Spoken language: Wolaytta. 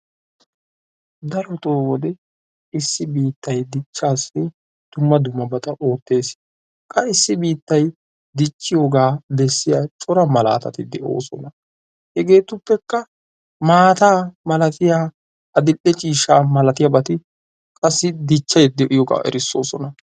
Darotoo biittay dichaassi dumma dummabata go'etees, qa issi biittay dicciyoogaa bessiya cora malaatati de'oosona. hegeetuppekka maata malattiya adil'e ciishsha malatiyabati qassi dichchay diyoogaa erissoosona.